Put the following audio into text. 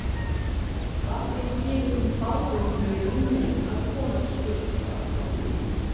Var þeim félögum báðum mjög í mun að komast burt frá